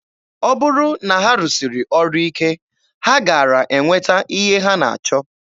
Ọ bụrụ na ha rụsiri ọrụ ike, ha gaara enweta ihe ha na-achọ.